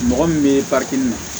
Mɔgɔ min bɛ